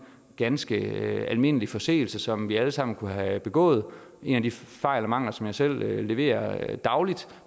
ganske almindelig forseelse som vi alle sammen kunne have begået en af de fejl og mangler som jeg selv leverer dagligt